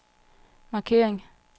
markering